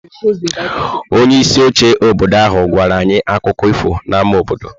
Onye isi oche obodo ahụ gwara anyị akụkọ ifo n'ámá obodo.